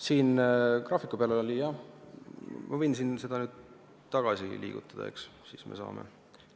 Siin graafiku peal oli, jah, ma võin seda tagasi liigutada, siis me saame vaadata.